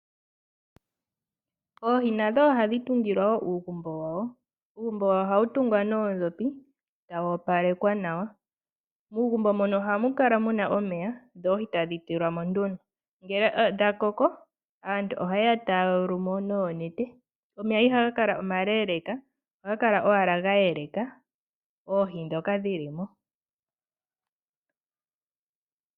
Oohi nadho ohadhi tungilwa wo uugumbo wadho. Uugumbo wadho ohawu tungwa noodhopi eta wu opalekwa nawa, muugumbo mono ohamu kala muna omeya ndee oohi tadhi tulwa mo nduno ngele dhakoko aantu oha yeya taya yulu mo noonete. Omeya iha gakala omaleeleeka ohaga kala owala geeleka oohi ndhoka dhili mo.